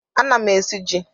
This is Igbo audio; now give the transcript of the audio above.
Ana m esi ji.